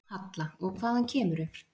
Halla: Og hvaðan kemurðu?